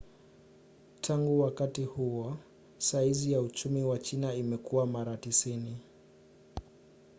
tangu wakati huo saizi ya uchumi wa china imekua mara 90